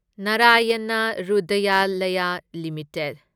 Narayana Hrudayalaya limited